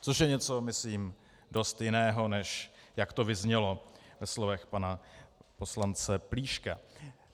Což je něco myslím dost jiného, než jak to vyznělo ve slovech pana poslance Plíška.